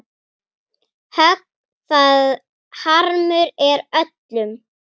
Högg það harmur er öllum.